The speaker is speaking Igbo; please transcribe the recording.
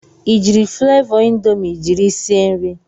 I jiiri flavọ indomi jiri sie nri?